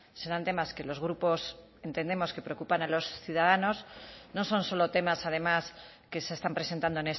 serán temas que los grupos entendemos que preocupan a los ciudadanos no son solo temas además que se están presentando